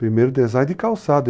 Primeiro design de calçado.